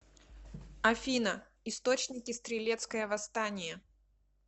афина источники стрелецкое восстание